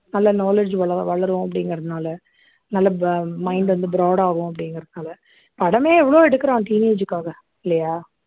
நல்லா knowledge வலரும் அப்படிங்கிறதுனால நல்ல mind வந்து broad ஆகும் அப்படிங்கிறதுனால படமே எவ்ளோ எடுக்கிறா teenage காக இல்லையா